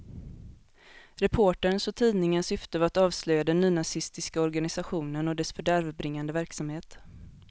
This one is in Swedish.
Reporterns och tidningens syfte var att avslöja den nynazistiska organisationen och dess fördärvbringande verksamhet.